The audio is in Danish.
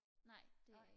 nej det er jeg ikke